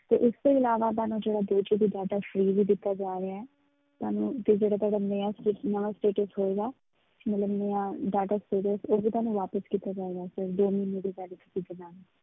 ਤੇ ਇਸ ਤੋਂ ਇਲਾਵਾ ਤੁਹਾਨੂੰ ਜਿਹੜਾ ਦੋ GB data free ਵੀ ਦਿੱਤਾ ਜਾ ਰਿਹਾ ਹੈ ਤੁਹਾਨੂੰ ਤੇ ਜਿਹੜਾ ਤੁਹਾਨੂੰ ਨਵਾਂ ਨਵਾਂ status ਹੋਏਗਾ, ਮਤਲਬ ਨਵਾਂ data ਉਹ ਵੀ ਤੁਹਾਨੂੰ ਵਾਪਸ ਕੀਤਾ ਜਾਏਗਾ sir ਦੋ ਮਹੀਨੇ ਦੀ validity ਦੇ ਨਾਲ